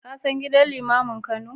Ka san gidan limamin Kano?